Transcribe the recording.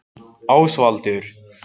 Ásvaldur